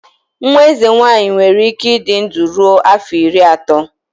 Nwa eze nwanyị nwere ike ịdị ndụ ruo afọ iri atọ.